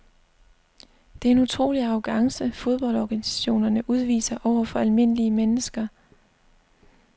Det er en utrolig arrogance fodboldorganisationerne udviser over for almindelige mennesker.